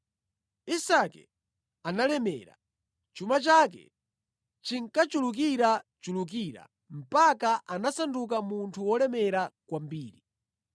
Isake analemera. Chuma chake chinkachulukirachulukira mpaka anasanduka munthu wolemera kwambiri.